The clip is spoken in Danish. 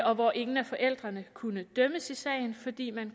og hvor ingen af forældrene kunne dømmes i sagen fordi man